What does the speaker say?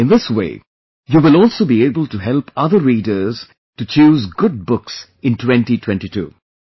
In this way, you will also be able to help other readers to choose good books in 2022